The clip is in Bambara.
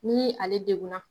Ni ale degun na